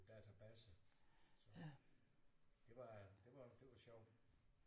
Database så det var det var det var sjovt